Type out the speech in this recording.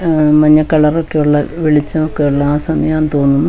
അ മഞ്ഞക്കളറൊക്കെയുള്ള വെളിച്ചൊക്കെയുള്ള ആ സമയാണെന്ന് തോന്നുന്നു--